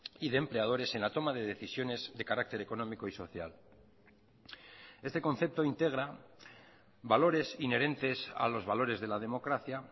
y de empleadores en la toma de decisiones de carácter económico y social este concepto integra valores inherentes a los valores de la democracia